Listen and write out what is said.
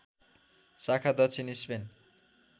शाखा दक्षिण स्पेन